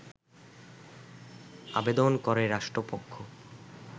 আবেদন করে রাষ্ট্রপক্ষ